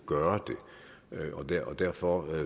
gøre det og derfor